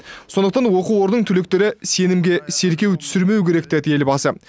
сондықтан оқу орнының түлектері сенімге селкеу түсірмеу керек деді елбасы